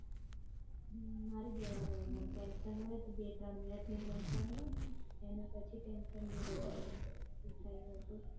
મારી જેવા રેવાનું tension હોય તો બે ત્રણ minute ની tension હોય અને પછી tension ભૂલી જવાનું હમ